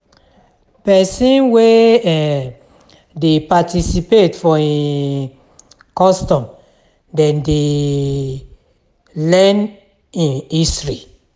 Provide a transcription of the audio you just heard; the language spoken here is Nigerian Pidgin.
Pesin wey um dey participate for im custom dem dey learn im history.